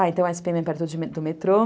Ah, então a esse pê eme é perto do metrô.